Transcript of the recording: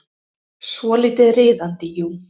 Svolítið riðandi, jú.